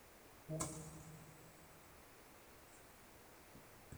ore tenkitanyaanyukoto olkiek loolganayio(,anaa olvakado o ilmaembe)kenare nesuli peyie etum ilgosil ai